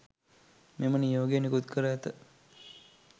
මෙම නියෝගය නිකුත් කර ඇත